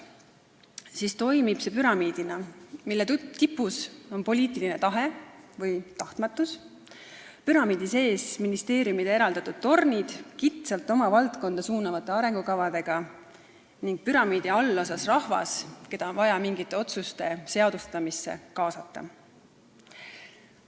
See toimib püramiidina, mille tipus on poliitiline tahe , püramiidi sees on ministeeriumide eraldatud tornid kitsalt oma valdkonda suunavate arengukavadega ning püramiidi allosas rahvas, keda on vaja mingite otsuste seadustamisse kaasata.